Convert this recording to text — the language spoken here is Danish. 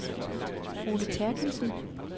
Ole Therkildsen